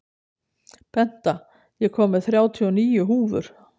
Benta, ég kom með þrjátíu og níu húfur!